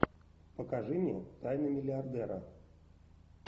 покажи мне тайны миллиардера